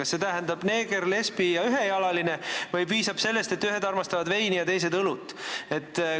Kas see tähendab, et seal peavad olema neeger, lesbi ja ühejalaline või piisab sellest, kui ühed armastavad veini ja teised õlut?